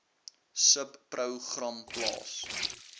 subpro gram plaas